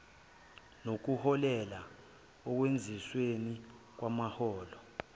nokuholela ekwenyusweni kwamaholo